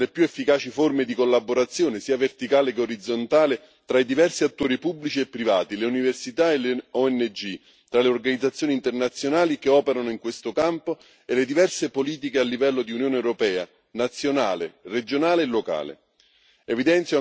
Vanno poste in essere più efficaci forme di collaborazione, sia verticale sia orizzontale, tra i diversi attori pubblici e privati, le università e le ONG, tra le organizzazioni internazionali che operano in questo campo e le diverse politiche a livello di Unione europea, nazionale, regionale e locale.